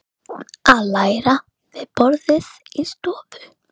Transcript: Norrænar hlutleysisreglur bönnuðu kafbátum að fara inn í landhelgi